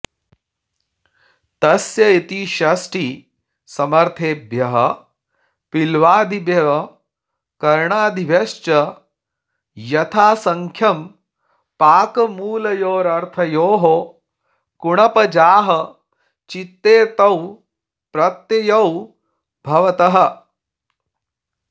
तस्य इति षष्ठीसमर्थेभ्यः पील्वादिभ्यः कर्णादिभ्यश्च यथासङ्ख्यं पाकमूलयोरर्थयोः कुणप् जाहचित्येतौ प्रत्ययौ भवतः